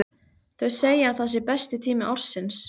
Þau segja að það sé besti tími ársins.